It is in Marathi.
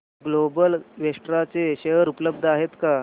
ग्लोबल वेक्ट्रा चे शेअर उपलब्ध आहेत का